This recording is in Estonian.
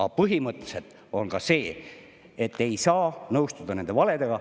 Aga põhimõtteliselt ei saa nõustuda nende valedega.